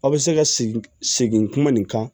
Aw bɛ se ka segin segin kuma nin kan